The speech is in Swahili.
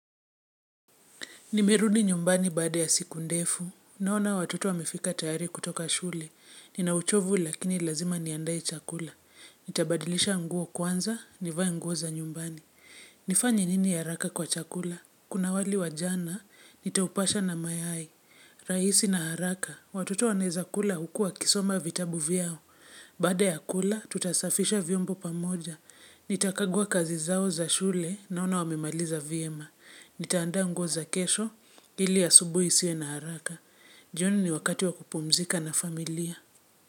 Nimerudi nyumbani baada ya siku ndefu, naona watoto wamefika tayari kutoka shule. Nina uchovu lakini lazima niandae chakula. Nitabadilisha nguo kwanza, nivae ngou za nyumbani. Nifanye nini ya haraka kwa chakula? Kuna wali wa jana, nitaupasha na mayai. Rahisi na haraka, watoto wanaweza kula huku wakisoma vitabu vyao. Baada ya kula, tutasafisha vyombo pamoja. Nitakagua kazi zao za shule, naona wamemaliza vyema. Nitaanda nguo za kesho ili asubuhi isiwe na haraka. Jioni ni wakati wa kupumzika na familia.